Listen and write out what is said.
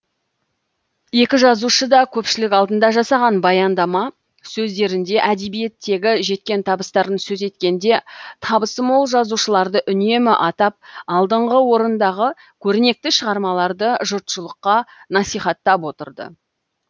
екі жазушы да көпшілік алдында жасаған баяндама сөздерінде әдебиеттегі жеткен табыстарын сөз еткенде табысы мол жазушыларды үнемі атап алдыңғы орындағы көрнекті шығармаларды жұртшылыққа насихаттап отырды